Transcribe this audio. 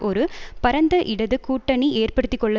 ஒரு பரந்த இடது கூட்டணி ஏறுபடுத்திக்கொள்ள